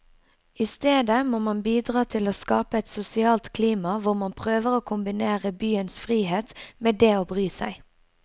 I stedet må man bidra til å skape et sosialt klima hvor man prøver å kombinere byens frihet med det å bry seg.